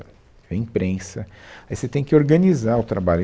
É imprensa, aí você tem que organizar o trabalho.